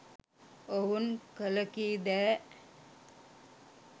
ඔවුන් කලකීදෑ